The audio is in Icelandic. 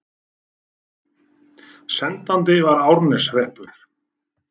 Sendandi var Árneshreppur.